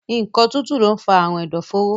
Nǹkan tútù lọ ń fa àrùn ẹ̀dọ̀fóró